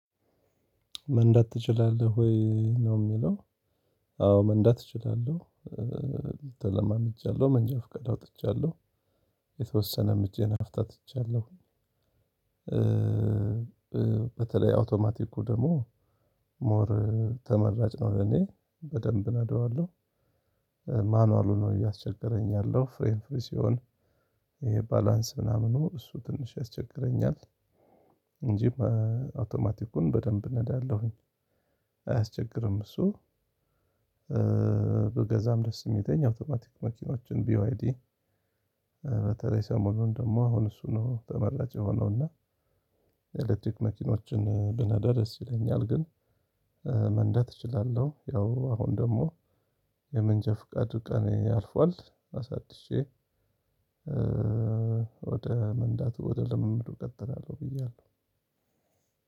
መንዳት ትችላለህ ወይ? ነው የሚለው አዎ መንዳት እችላለሁ ተለማመጃለሁ መንጃ ፍቃድ አውጥቻለሁ። የተወሰነ እጄን አፍታትቻለሁ። በተለይ አውቶማቲኩ ደግሞ ሞር ተመራጭ ነው ለእኔ በደንብ እነደዋለሁ። ማኑዋሉ ነው እያስቸገረኝ ያለው ፍሬኑ ፍሪ ሲሆን ይሄ ባላንስ ምናምን እሱ ትንሽ ያስቸግረኛል እንጂ ማ አውቶማቲኩን በደንብ እነዳለሁኝ። አያስቸግርም እሱ ብገዛም ደስ የሚለኝ አውቶማቲክ መኪኖችን ቢዋይዲ በተለይ ሰሞኑን ደግሞ አሁን እሱ ነው ተመራጭ የሆነው እና የኤሌክትሪክ መኪኖችን ብነዳ ደስ ይለኛል። ግን መንዳት እችላለሁ ያው አሁን ደግሞ የመንጃ ፍቃድ ቀኔ አልፏል። አሳድሸ ወደ መንዳቱ፣ ወደ ልምምዱ እቀጥላለሁ ብያለሁ።